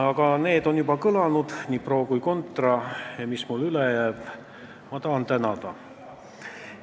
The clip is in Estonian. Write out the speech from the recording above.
Aga need on juba kõlanud, nii pro- kui contra-kõned, ja mis muud mul üle jääb kui tänada.